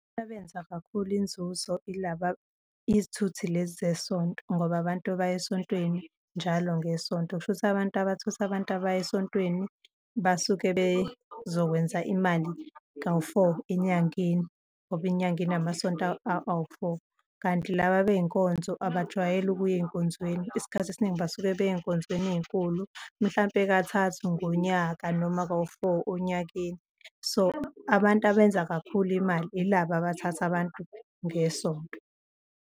Abenza kakhulu inzuzo yilaba izithuthi lezi zesonto ngoba abantu baya esontweni njalo ngeSonto. Kusho ukuthi abantu abathutha abantu abaya esontweni basuke bezokwenza imali kawu-four enyangeni ngoba inyanga inamasonto awu-four. Kanti laba bey'nkonzo abajwayeli ukuya ey'nkonzweni, isikhathi esiningi basuke beya ey'nkonzweni ey'nkulu, mhlampe kathathu ngonyaka noma kawu-four onyakeni. So, abantu abenza kakhulu imali yilaba abathatha abantu ngesonto.